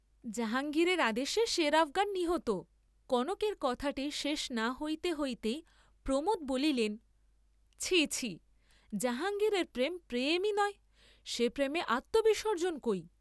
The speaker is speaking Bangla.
জাহাঙ্গীরের আদেশে সের আফগান নিহত কনকের কথাটি শেষ না হইতে হইতেই প্রমোদ বলিলেন, ছিঃ ছিঃ, জাহাঙ্গীরের প্রেম প্রেমই নয়, সে প্রেমে আত্মবিসর্জ্জন কই?